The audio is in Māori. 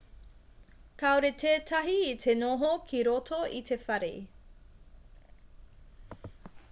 kāore tētahi i te noho ki roto i te whare